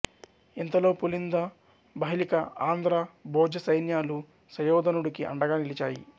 ఇంతలో పుళింద బాహ్లిక ఆంధ్ర భోజ సైన్యాలు సుయోధనుడికి అండగా నిలిచాయి